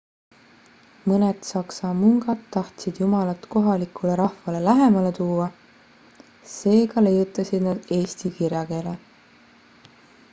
mõned saksa mungad tahtsid jumalat kohalikule rahvale lähemale tuua seega leiutasid nad eesti kirjakeele